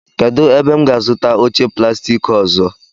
Kedụ ebe m ga-azụta oche plastik ọzọ?